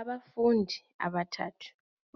Abafundi abathathu